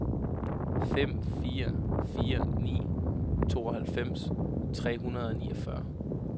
fem fire fire ni tooghalvfems tre hundrede og niogfyrre